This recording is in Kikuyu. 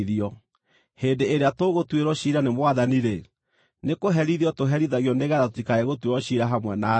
Hĩndĩ ĩrĩa tũgũtuĩrwo ciira nĩ Mwathani-rĩ, nĩkũherithio tũherithagio nĩgeetha tũtikae gũtuĩrwo ciira hamwe na thĩ.